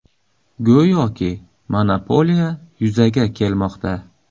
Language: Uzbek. Go‘yoki monopoliya yuzaga kelmoqda.